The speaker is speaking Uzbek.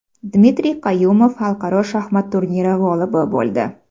Dmitriy Qayumov xalqaro shaxmat turniri g‘olibi bo‘ldi.